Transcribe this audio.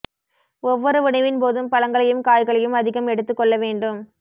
ஒவ்வொரு உணவின் போதும் பழங்களையும் காய்களையும் அதிகம் எடுத்து கொள்ள வேண்டும்